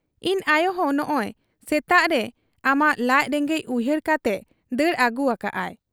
ᱤᱧ ᱟᱭᱚᱦᱚᱸ ᱱᱚᱸᱜᱻᱚᱭ ᱥᱮᱛᱟᱜᱨᱮ ᱟᱢᱟᱜ ᱞᱟᱡ ᱨᱮᱸᱜᱮᱡ ᱩᱭᱦᱟᱹᱨ ᱠᱟᱛᱮᱜ ᱫᱟᱹᱲ ᱟᱹᱜᱩ ᱟᱠᱟᱜ ᱟ ᱾'